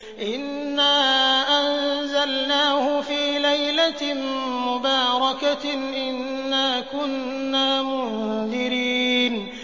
إِنَّا أَنزَلْنَاهُ فِي لَيْلَةٍ مُّبَارَكَةٍ ۚ إِنَّا كُنَّا مُنذِرِينَ